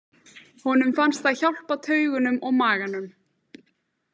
Honum fannst það hjálpa taugunum og maganum.